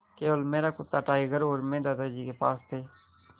केवल मेरा कुत्ता टाइगर और मैं दादाजी के पास थे